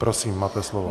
Prosím, máte slovo.